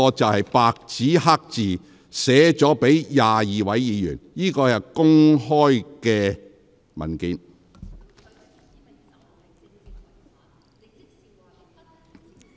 這是白紙黑字寫給22位議員的回信，亦是公開的文件。